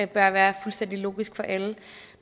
bør være fuldstændig logisk for alle